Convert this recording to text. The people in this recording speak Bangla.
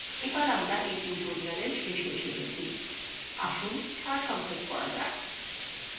এবার আমরা এই tutorial শেষে এসে গেছি আসুন সারসংক্ষেপ করা যাক